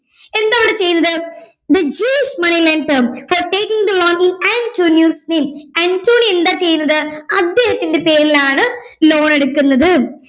എന്താ അവിടെ ചെയ്യുന്നത് the jewish money lender for taking the loan in antonio's name Antonio എന്താ ചെയ്യുന്നത് അദ്ദേഹത്തിൻറെ പേരിലാണ് loan എടുക്കുന്നത്